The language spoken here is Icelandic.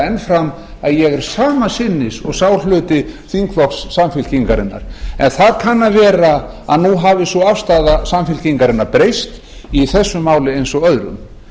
enn fram að ég er sama sinnis og sá hluti þingflokks samfylkingarinnar en það kann að vera að nú hafi sú afstaða samfylkingarinnar breyst í þessu máli eins og öðrum